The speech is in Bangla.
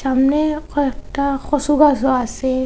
সামনে কয়েকটা কচু গাছও আসে।